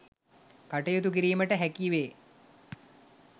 කටයුතු කිරීමට හැකි වේ.